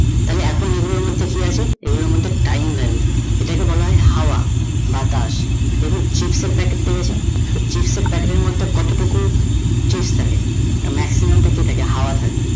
তাহলে এখন এই গুলোর মধ্যে কি আছে? এই গুলোর মধ্যে time value ইটা কে বলা হয়ে হাওয়া, বাতাস, দেখুন chips এর packet টা দেখেন, chips এর packet টের মধ্যে কত টুকু chips থাকে তা maximum টা কি থাকে হাওয়া থাকে